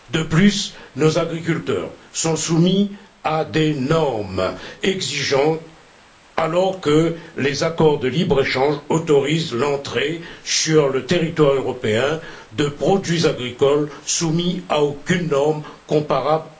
De plus, nos agriculteurs sont soumis à des normes exigeantes, alors que les accords de libre échange autorisent l'entrée sur le territoire européen de produits agricoles qui ne sont nullement soumis à des normes comparables.